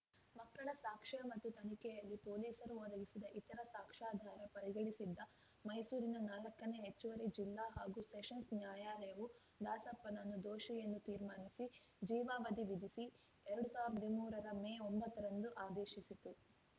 ಮಕ್ಕಳ ಸಾಕ್ಷ್ಯ ಮತ್ತು ತನಿಖೆಯಲ್ಲಿ ಪೊಲೀಸರು ಒದಗಿಸಿದ ಇತರ ಸಾಕ್ಷ್ಯಾಧಾರ ಪರಿಗಣಿಸಿದ್ದ ಮೈಸೂರಿನ ನಾಲ್ಕನೇ ಹೆಚ್ಚುವರಿ ಜಿಲ್ಲಾ ಹಾಗೂ ಸೆಷನ್ಸ್‌ ನ್ಯಾಯಾಲಯವು ದಾಸಪ್ಪನ್ನು ದೋಷಿ ಎಂದು ತೀರ್ಮಾನಿಸಿ ಜೀವಾವಧಿ ವಿಧಿಸಿ ಎರಡ್ ಸಾವಿರ್ದ ಹದಿಮೂರರ ಮೇ ಒಂಬತ್ತರಂದು ಆದೇಶಿಸಿತ್ತು